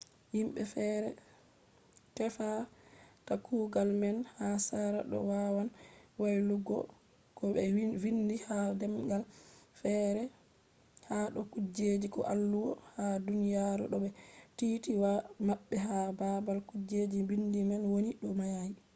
himbe fere tefata kugal man ha sera do wawan waylutuggo ko be vindi ha demgal fere ha do kujeji ko alluwo ha duniyaru to be titi waya mabbe ha babal kujeji bindi man woni do mai